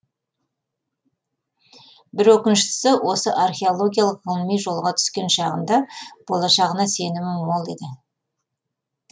бір өкініштісі осы археологиялық ғылыми жолға түскен шағында болашағына сенімі мол еді